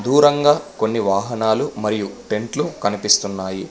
దూరంగా కొన్ని వాహనాలు మరియు టెంట్లు కనిపిస్తున్నాయి.